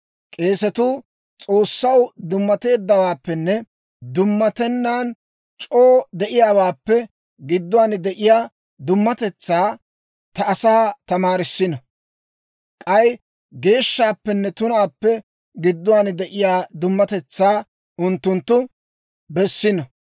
«‹ «K'eesetuu S'oossaw dummateeddawaappenne dummatennan c'oo de'iyaawaappe gidduwaan de'iyaa dummatetsaa ta asaa tamaarissino. K'ay geeshshaappenne tunaappe gidduwaan de'iyaa dummatetsaa unttunttu bessino.